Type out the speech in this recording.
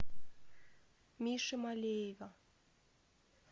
миши малеева